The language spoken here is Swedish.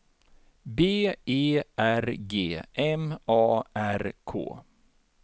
B E R G M A R K